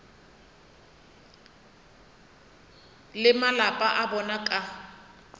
le malapa a bona ka